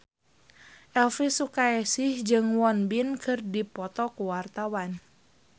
Elvi Sukaesih jeung Won Bin keur dipoto ku wartawan